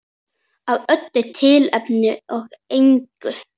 Af öllu tilefni og engu.